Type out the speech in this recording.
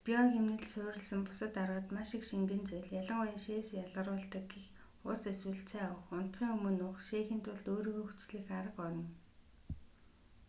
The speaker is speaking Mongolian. био хэмнэлд суурилсан бусад аргад маш их шингэн зүйл ялангуяа шээс ялгаруулдаг гэх ус эсвэл цай уух унтахын өмнө уух шээхийн тулд өөрийгөө хүчлэх арга орно